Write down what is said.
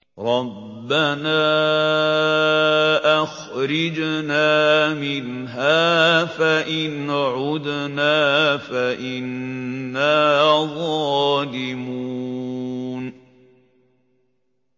رَبَّنَا أَخْرِجْنَا مِنْهَا فَإِنْ عُدْنَا فَإِنَّا ظَالِمُونَ